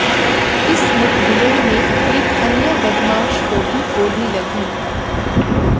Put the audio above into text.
इस मुठभेड़ में एक अन्य बदमाश को भी गोली लगी